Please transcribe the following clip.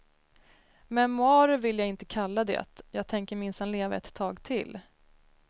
Memoarer vill jag inte kalla det, jag tänker minsann leva ett tag till.